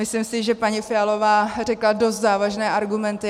Myslím si, že paní Fialová řekla dost závažné argumenty.